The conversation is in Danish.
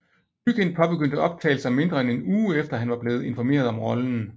Mygind påbegyndte optagelser mindre end en uge efter han var blevet informeret om rollen